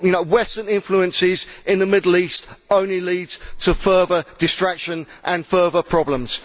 Western influences in the Middle East only leads to further distraction and further problems